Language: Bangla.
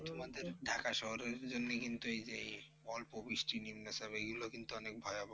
তোমাদের ঢাকা শহরের জন্য কিন্তু এই যে, এই অল্প বৃষ্টি নিম্নচাপ এগুলো কিন্তু অনেক ভয়াবহ।